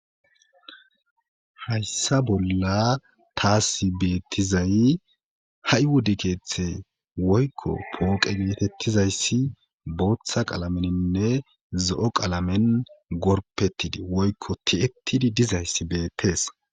Hayssa bolla taasi beettizay ha7i wode keeththe woykko pooqe geetettizayssi booththa qalameninne zo7o qalamen gorpettidi woykko ti7ettidi dizayssi beettees.